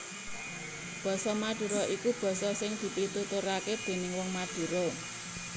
Basa Madura iku basa sing dipituturake déning wong Madura